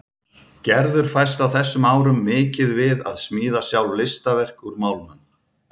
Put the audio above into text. Gerður fæst á þessum árum mikið við að smíða sjálf listaverk úr málmum.